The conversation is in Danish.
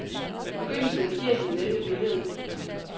I begyndelsen af firserne vendte billedet.